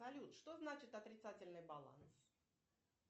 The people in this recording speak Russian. салют что значит отрицательный баланс